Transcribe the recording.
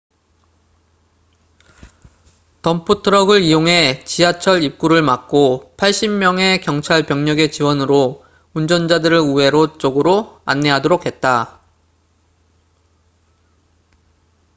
덤프트럭을 이용해 지하철 입구를 막고 80명의 경찰병력의 지원으로 운전자들을 우회로 쪽으로 안내하도록 했다